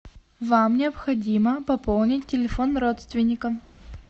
вам необходимо пополнить телефон родственника